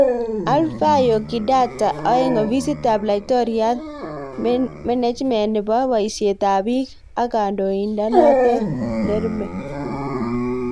Alphayo Kidata 2.Ofisit ap Laitoriat, Menejment nepo poisiet ab piik ak Kandoinatet nrmhe